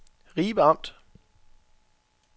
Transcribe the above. Ribe Amt